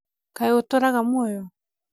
kaĩ ũtũraga mũoyo?